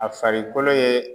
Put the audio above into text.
A farikolo ye